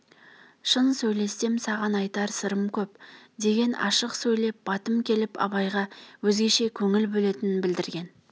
шын сөйлессем саған айтар сырым көп деген ашық сөйлеп батым келіп абайға өзгеше көңіл бөлетінін білдірген